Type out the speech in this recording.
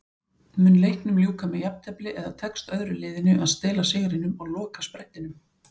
Mun leiknum ljúka með jafntefli eða tekst öðru liðinu að stela sigrinum á lokasprettinum?